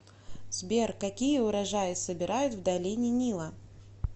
сбер какие урожаи собирают в долине нила